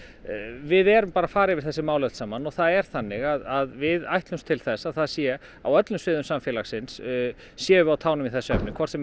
við erum bara að fara yfir þessi mál öll saman og það er þannig að við ætlumst til þess að það sé á öllum sviðum samfélagsins séum við á tánum í þessum efnum hvort sem er